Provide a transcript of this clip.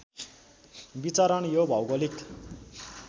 विचरण यो भौगोलिक